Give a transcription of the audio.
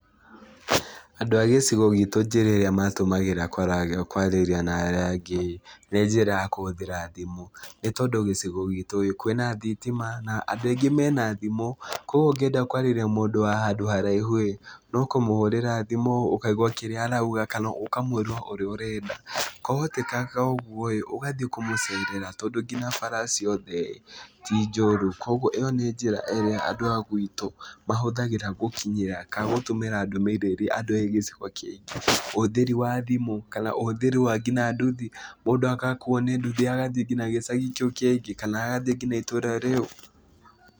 Andũ a gĩcigo gitũ njĩra ĩrĩa matũmagĩra kwaraga kwarĩria na arĩa angĩ-ĩ, nĩ njĩra ya kũhũthĩra thimũ, nĩ tondũ gĩcigo gitũ-ĩ, kwĩna thitima na andũ aingĩ mena thimũ. Kuoguo ũngĩenda kwarĩria mũndũ wa haraihu-ĩ, no kũmũhũrĩra thimũ ũkaigua kĩrĩa arauga kana ũkamwĩra ũrĩa ũrenda, kwahotekanga ũguo-ĩ ũgathiĩ kũmũcerera tondũ nginya bara ciothe-ĩ ti njũru. Kuoguo ĩyo nĩ njĩra ĩrĩa andũ a gwitũ mahũthagĩra gũkinyĩra kana gũtũmĩra ndũmĩrĩri andũ a gĩcigo kĩngĩ. Ũhũthĩri wa thimũ, kana ũhũthĩri wa kinya nduthi, mũndũ agakuo nĩ nduthi agathiĩ nginya gĩcagi kĩu kĩngĩ kana agathiĩ kinya itũra rĩu.